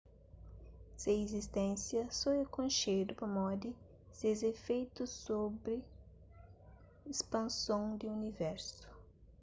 se izisténsia so é konxedu pamodi ses ifeitu sobri ispanson di universu